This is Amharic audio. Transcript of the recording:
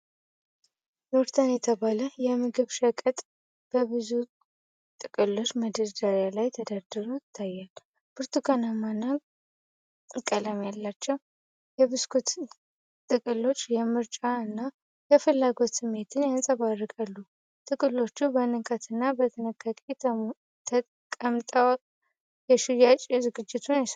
"ኑርተን" የተባለ የምግብ ሸቀጥ በብዙ ጥቅሎች በመደርደሪያ ላይ ተደርድሮ ይታያል። ብርቱካናማ ቀለም ያላቸው የብስኩት ጥቅሎች የምርጫ እና የፍላጎት ስሜትን ያንጸባርቃሉ። ጥቅሎቹ በንቃትና በጥንቃቄ ተቀምጠው የሽያጭ ዝግጁነትን ያሳያሉ።